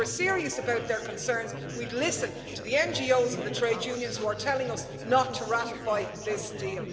And if we were serious about their concerns we'd listen to the NGOs and the trade unions who are telling us not to ratify this deal.